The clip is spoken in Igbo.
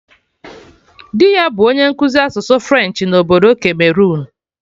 Dị ya bụ onye nkụzi asụsụ French na obodo Cameroon